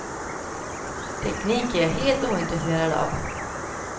Teknik är jag helt ointresserad av.